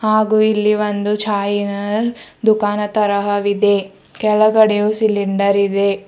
ಹಾಗೂ ಇಲ್ಲಿ ಚಾಹಿನ ದುಕಾನ ತರಹ ವಿದೆ ಕೆಲಗಡೆಯು ಸಿಲಿಂಡರ್ ಇದೆ.